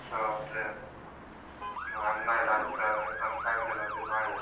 ಅಣ್ಣ ಎಲ್ಲ ನನ್ ಫ್ಯಾಮಿಲಿಯಲ್ಲಿ ಒಂಚೂರ್ ಮಾಡಿದ್ದಾರೆ.